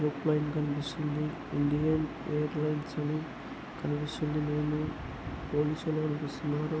ఒక airline కనిపిస్తుంది Indian airlines అని కనిపిస్తుంది వాళ్ళు సెలవులకు వస్తున్నారు.